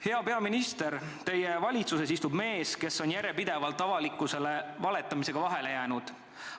" Hea peaminister, teie valitsuses istub mees, kes on järjepidevalt avalikkusele valetamisega vahele jäänud.